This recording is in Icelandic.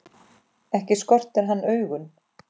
Ekki skortir hann augun.